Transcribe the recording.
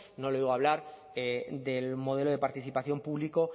no le oigo hablar del modelo de participación público